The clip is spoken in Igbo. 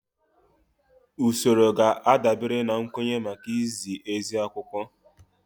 Usoro ga-adabere na nkwenye maka izi ezi akwụkwọ